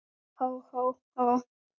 Og nú er hann það.